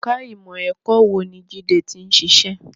Ẹ̀ka ìmọ̀ ẹ̀kọ́ wo ni Jide ti ń ṣiṣẹ́?